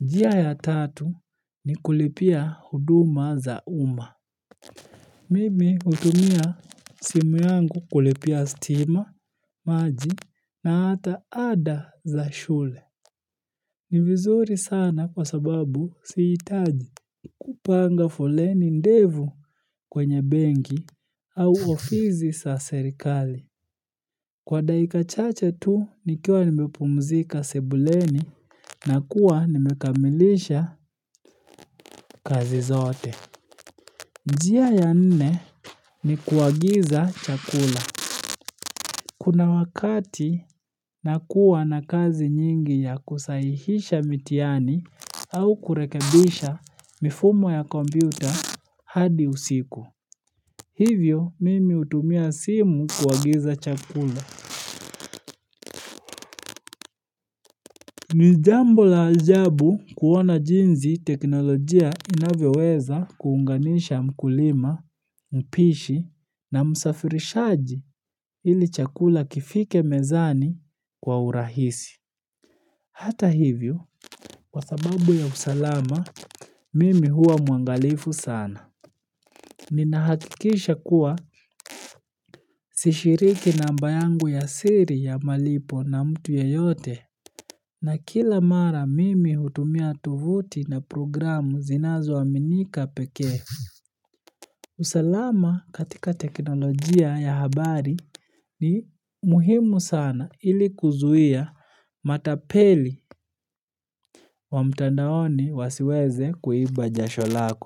Njia ya tatu ni kulipia huduma za uma. Mimi hutumia simu yangu kulipia stima, maji na hata ada za shule. Ni vizuri sana kwa sababu sihitaji kupanga foleni ndevu kwenye bengi au ofizi sa serikali Kwa daika chache tu nikiwa nimepumzika sebuleni na kuwa nimekamilisha kazi zote njia ya nne ni kuagiza chakula Kuna wakati nakuwa na kazi nyingi ya kusahihisha mitiani au kurekebisha mifumo ya kompyuta hadi usiku Hivyo mimi utumia simu kuagiza chakula ni jambo la ajabu kuona jinzi teknolojia inavyoweza kuunganisha mkulima, mpishi na msafirishaji ili chakula kifike mezani kwa urahisi. Hata hivyo, kwa sababu ya usalama, mimi huwa mwangalifu sana. Ninahakikisha kuwa sishiriki namba yangu ya siri ya malipo na mtu yeyote. Na kila mara mimi hutumia tuvuti na programu zinazoaminika pekee. Usalama katika teknolojia ya habari ni muhimu sana ili kuzuia matapeli wa mtandaoni wasiweze kuiba jasho lako.